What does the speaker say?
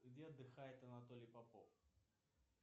где отдыхает анатолий попов